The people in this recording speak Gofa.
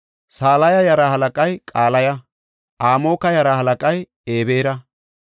Salaya yaraa halaqay Qalaya. Amoka yaraa halaqay Ebeera.